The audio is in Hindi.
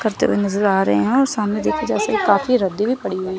नजर आ रहे हैं और सामने देखा जा स काफी रद्दी भी पड़ी हुई--